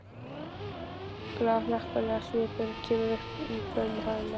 Glaðhlakkalegur svipurinn kemur upp um hana.